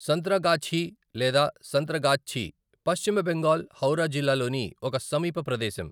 సంత్రాగాఛీ లేదా సంత్రాగాచ్చి, పశ్చిమ బెంగాల్, హౌరా జిల్లాలోని ఒక సమీప ప్రదేశం.